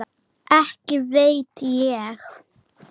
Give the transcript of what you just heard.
Og hvaða bréf eru það?